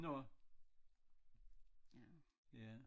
Nåh ja